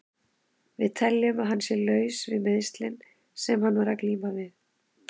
Við teljum að hann sé laus við meiðslin sem hann var að glíma við.